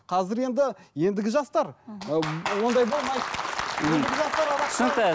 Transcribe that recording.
қазір енді ендігі жастар мхм ондай болмайды